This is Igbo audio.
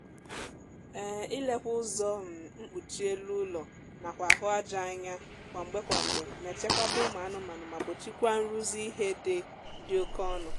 um ilekwa ụzọ um mkpuchi elu ụlọ nakwa ahụ aja anya kwa mgbe kwa mgbe na-echekwaba ụmụ anụmaanụ ma gbochikwaa nrụzi ihe dị dị oké ọnụ